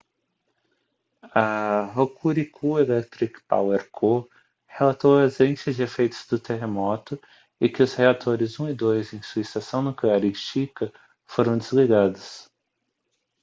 a hokuriku electric power co relatou a ausência de efeitos do terremoto e que os reatores 1 e 2 em sua estação nuclear em shika foram desligados